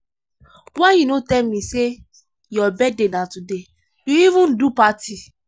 why you no tell me say your birthday na today? you even do party